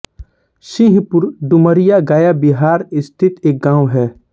सिंहपुर डुमरिया गया बिहार स्थित एक गाँव है